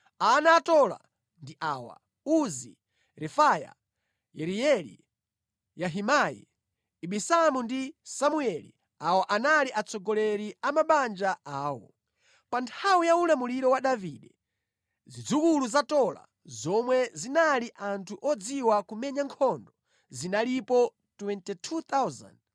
Ana a Tola ndi awa: Uzi, Refaya, Yerieli, Yahimai, Ibisamu ndi Samueli. Awa anali atsogoleri a mabanja awo. Pa nthawi ya ulamuliro wa Davide zidzukulu za Tola zomwe zinali anthu odziwa kumenya nkhondo zinalipo 22,600.